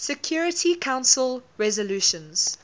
security council resolutions